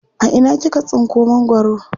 A ina kika tsinko mangwaro?